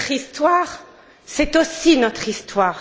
Leur histoire c'est aussi notre histoire.